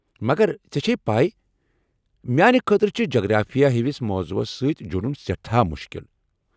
مگر ژےٚ چھے پے، میٛانہ خٲطرٕ چھِ جغرافیہ ہِوِس موضوعس سۭتۍ جُڈُن سٮ۪ٹھاہ مُشكِل ۔